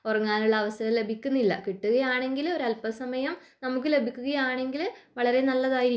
ഉറങ്ങാനുള്ള സമയം ലഭിക്കുന്നില്ല അങ്ങനെയാണെങ്കിൽ നമുക്ക് അൽപ സമയം ലഭിക്കുകയാണെങ്കിൽ വളരെ നല്ലതായിരിക്കും